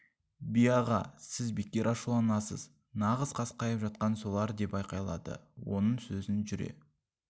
би аға сіз бекер ашуланасыз нағыз қасқайып жатқан солар деп айқайлады оның сөзін жүре